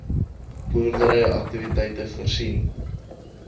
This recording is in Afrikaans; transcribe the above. boerdery aktiwiteite afgesien